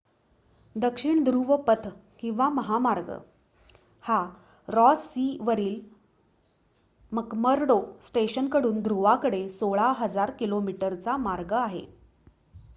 दक्षिण ध्रुव पथ किंवा महामार्ग हा रॉस सी वरील मकमर्डो स्टेशन कडून ध्रुवाकडे 1600 किमीचा मार्ग आहे